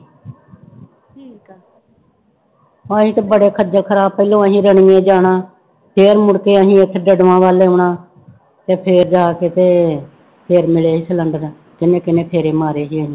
ਅਸੀਂ ਤਾਂ ਬੜਾ ਖੱਜ਼ਲ ਖ਼ਰਾਬ ਪਹਿਲੋਂ ਅਸੀਂ ਰਣੀਏ ਜਾਣਾ, ਫਿਰ ਮੁੜਕੇ ਅਸੀਂ ਉੱਥੇ ਵੱਲ ਆਉਣਾ ਤੇ ਫਿਰ ਜਾ ਕੇ ਤੇ ਫਿਰ ਮਿਲੇ ਸੀ ਸਿਲੈਂਡਰ ਕਿੰਨੇ ਕਿੰਨੇ ਗੇੜੇ ਮਾਰੇ ਸੀ ਅਸੀਂ।